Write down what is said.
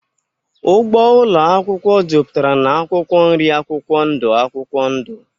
Ugbo ụlọ akwụkwọ juputara na akwụkwọ nri akwụkwọ ndụ akwụkwọ ndụ